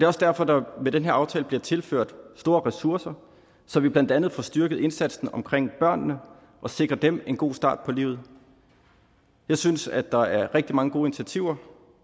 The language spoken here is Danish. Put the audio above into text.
også derfor at der med den her aftale bliver tilført store ressourcer så vi blandt andet får styrket indsatsen omkring børnene og sikrer dem en god start på livet jeg synes at der er rigtig mange gode initiativer